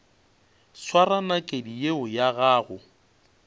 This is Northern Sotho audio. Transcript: swara nakedi yeo ya gago